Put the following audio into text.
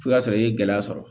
F'i ka sɔrɔ i ye gɛlɛya sɔrɔ